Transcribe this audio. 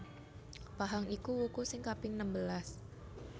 Pahang iku wuku sing kaping nembelas